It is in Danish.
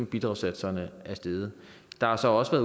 bidragssatserne er steget der er så også